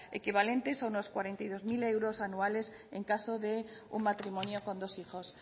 equivalentes a unos cuarenta y dos mil euros anuales en caso de un matrimonio con dos hijos